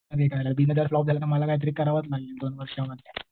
जर फ्लॉप झालं तर मला कायतरी करावंच लागेल. एक दोन वर्षांमध्ये.